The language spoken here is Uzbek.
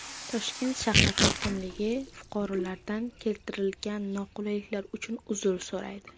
Toshkent shahar hokimligi fuqarolardan keltirilgan noqulayliklar uchun uzr so‘raydi.